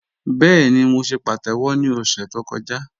Bẹẹ̀ni, mó ṣè pàtẹ́wọ̀ ni ọ̀ṣẹ̀ tó kọ̀jà